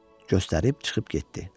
Məni göstərib çıxıb getdi.